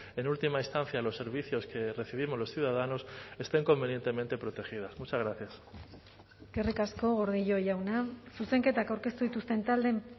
en última instancia los servicios que recibimos los ciudadanos estén convenientemente protegidas muchas gracias eskerrik asko gordillo jauna zuzenketak aurkeztu dituzten taldeen